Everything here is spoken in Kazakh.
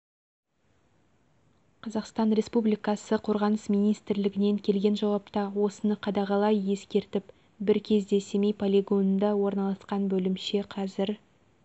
қазақстан республикасы қорғаныс министрлігінен келген жауапта осыны қадағалай ескертіп бір кезде семей полигонында орналасқан бөлімше қазір